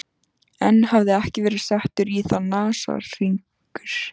Enn hafði ekki verið settur í það nasahringur.